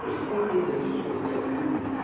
то есть путь независимости от еды